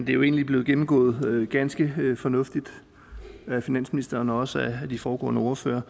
jo egentlig blevet gennemgået ganske fornuftigt af finansministeren og også af de foregående ordførere